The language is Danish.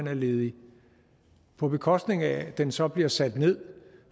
er ledige på bekostning af at den så bliver sat ned